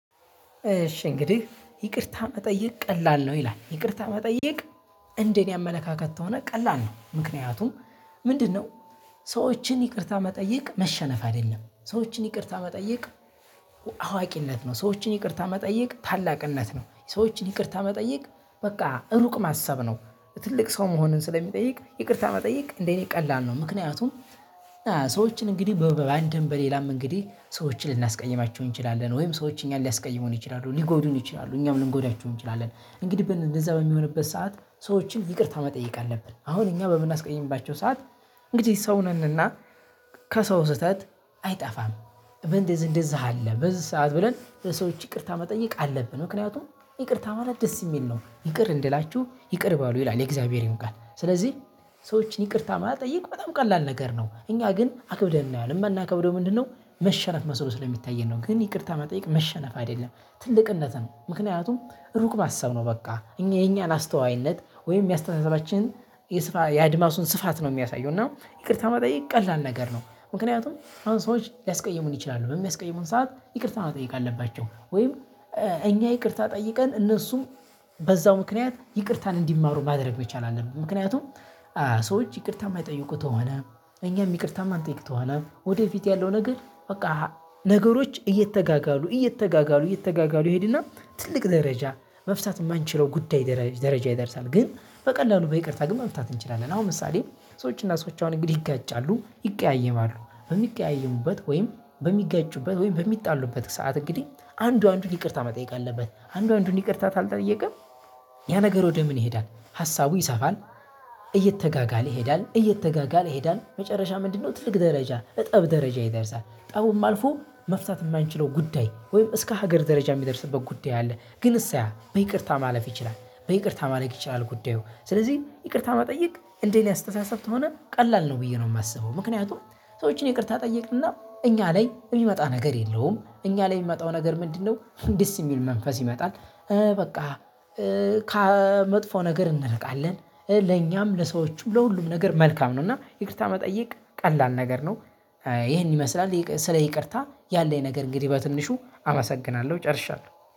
እሺ እንግዲህ ይቅርታ መጠየቅ ቀላል ነው ይላል ይቅርታ መጠየቅ። እንደ እኔ አመለካከት ተሆነ ቀላል ነው ምክንያቱም ምንድነው? ሰዎችን ይቅርታ መጠየቅ መሸነፍ አይደለም ሰዎችን ይቅርታ መጠየቅ። አዋ አዋቂነት ነው ሰዎችን ይቅርታ መጠየቅ ታላቅነት ነው ሰዎችን ይቅርታ መጠየቅ በቃ ሩቅ ማሰብ ነው። ትልቅ ሰው መሆንን ስለሚጠይቅ ይቅርታ መጠየቅ እንደ እኔ ቀላል ነው። ምክንያቱም። ሰዎችን እንግዲህ በብ በአንድም በሌላም እንግዲህ ሰዎችን ልናስቀይማቸው እንችላለን ወይም ሰዎች እኛን ሊያስቀይሙን ይችላሉ ሊጎዱን ይችላሉ እኛም ልንጎዳቸው እንችላለን እንግዲህ በን እንደዛ በሚሆንበት ሰዓት ሰዎችን ይቅርታ መጠየቅ አለብን። አሁን እኛ በምናስቀይምባቸው ሰዓት እንግዲህ ሰው ነን እና ከሰው ስህተት አይጠፋም። በንደዚህ እንደዚህ አለ በዚህ ሰዓት ብለን ለሰዎች ይቅርታ መጠየቅ አለብን። ምክንያቱም ይቅርታ ማለት ደስ የሚል ነው። ይቅር እንድላችሁ ይቅር በሉ ይላል የእግዚአብሔርን ቃል ስለዚህ ሰዎችን ይቅርታ ማጠየቅ በጣም ቀላል ነገር ነው። እኛ ግን አክብደን እናየዋለን ምናከብደው ምንድነው? መሸነፍ መሰሎ ስለሚታየን ነው። ግን ይቅርታ መጠየቅ መሸነፍ አይደለም። ትልቅነት ነው ምክንያቱም ሩቅ ማሰብ ነው። በቃ እኛ የኛን አስተዋይነት ወይም የአስተሳሰባችን የስፋይ የአድማሱን ስፋት ነው ሚያሳየው እና ይቅርታ መጠየቅ ቀላል ነገር ነው። ምክንያቱም አሁን ሰዎች ሊያስቀይሙን ይችላሉ በሚያስቀይሙን ሰዓት ይቅርታ መጠየቅ አለባቸው ወይም እኛ ይቅርታ ጠይቀን እነሱም በዛው ምክንያት ይቅርታን እንዲማሩ ማድረግ መቻል አለብን። ምክንያቱም ሰዎች ይቅርታ ማይጠይቁ ተሆነ እኛም ይቅርታ ማንጠይቅ ተሆነ ወደፊት ያለው ነገር በቃ። ነገሮች እየተጋጋሉ እየተጋጋሉ እየተጋጋሉ ይሄድ እና ትልቅ ደረጃ መፍታት እማንችለው ጉዳይ ደረ ደረጃ ይደርሳል። ግን በቀላሉ በይቅርታ ግን መፍታት እንችላለን። አሁን ምሳሌ። ሰዎች እና ሰዎች አሁን እንግዲህ ይጋጫሉ ይቀያየማሉ በሚቀያየሙበት ወይም በሚጋጩበት ወይም በሚጣሉበት ሰዓት እንግዲህ አንዱ አንዱን ይቅርታ መጠየቅ አለበት። አንዱ አንዱን ይቅርታ ታልጠየቀ ያ ነገር ወደ ምን? ይሄዳል ሀሳቡ ይሰፋል። እየተጋጋለ ይሄዳል እየተጋጋለ ይሄዳል መጨረሻ ምንድነው? ትልቅ ደረጃ እጠብ ደረጃ ይደርሳል ጠቡም አልፎ መፍታት እማንችለው ጉዳይ ወይም እስከ ሀገር ደረጃ ሚደርስበት ጉዳይ አለ። ግን እሰያ በይቅርታ ማለፍ ይችላል በይቅርታ ማለቅ ይችላል። ጉዳዩ ስለዚህ ይቅርታ መጠየቅ እንደ እኔ አስተሳሰብ ተሆነ ቀላል ነው። ብዬ ነው ማስበው ምክንያቱም ሰዎችን ይቅርታ ጠይቅና እኛ ላይ እሚመጣ ነገር የለውም እኛ ላይ የሚመጣው ነገር ምንድነው? ደስ የሚል መንፈስ ይመጣል። በቃ ከመጥፎ ነገር እንርቃለን። ለኛም ለሰዎቹም ለሁሉም ነገር መልካም ነው። እና ይቅርታ መጠየቅ ቀላል ነገር ነው። ይሄን ይመስላል ይቅ ስለ ይቅርታ ያለኝ ነገር እንግዲህ በትንሹ አመሰግናለሁ ጨርሻለሁ